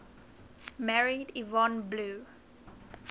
married yvonne blue